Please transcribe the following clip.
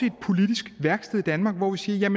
et politisk værksted hvor vi siger